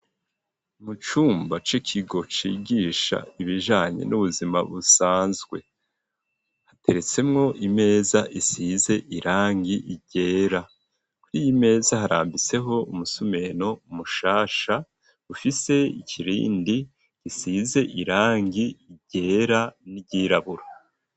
Mu cumba c'ikigo cigisha ibijanye n'ubuzima busanzwe, hateretsemwo imeza isize irangi ryera, kur'iyimeza harambiseho umusumeno mushasha ufise ikirindi gisize irangi ryera n'iryirabura.